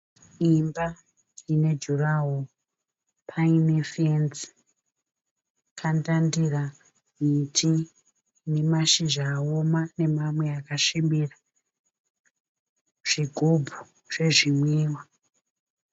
Imba ine jurawo paine fenzi pandandira miti ne mashizha awoma nemamwe akasvibira zvigubhu zvezvimwiwa.